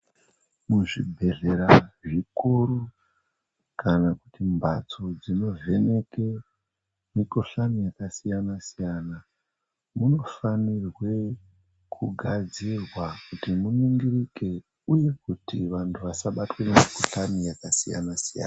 Muzvibhehlera zvikuru kana kuti mbatso dzinovheneke mukhuhlani yakasiyana-siyana munifanirwe kugadzirwa kuti muningirike uye kuti vantu vasabatwa nemikhuhlani yakasiyana-siyana.